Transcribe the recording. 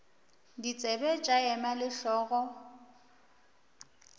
ditsebe tša ema le hlogo